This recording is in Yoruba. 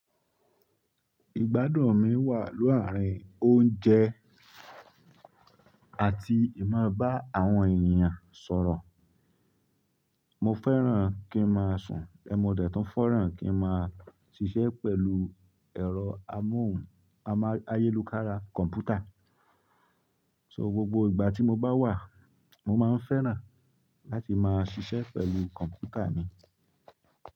Ìgbádùn mi wà laárín oúnjẹ àti ì máa bá àwọn èèyàn sọ̀rọ̀. Mo fẹ́ràn kí n máa sùn, mo dẹ̀ tun feràn kí n máa ṣiṣẹ́ pẹ̀lú ẹ̀rọ amóhù ayélukára kọ̀mpútà. So gbogbo ìgbà tí mo bá wà, mo máa ń fẹ́ràn láti máa ṣiṣẹ́ pẹ̀lú kọ̀mpútà mi.